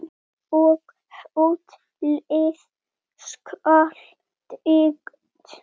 Og hótelið skal byggt.